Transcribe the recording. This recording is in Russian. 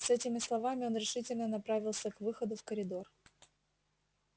с этими словами он решительно направился к выходу в коридор